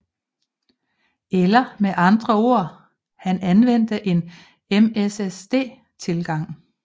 Eller med andre ord han anvendte en MSSD tilgang